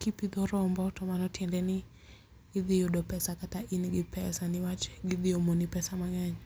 Kipidho rombo to mano tiende ni idhi yudo pesa kata in gi pesa newach gidhiomoni pesa mang'eny.